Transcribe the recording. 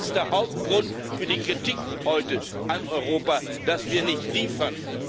Das ist der Hauptgrund für die Kritik heute an Europa, dass wir nicht liefern.